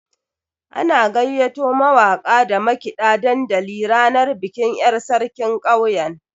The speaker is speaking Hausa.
An gayyato mawaka da makiɗa dandali ranar bikin yar' sarkin ƙauyen.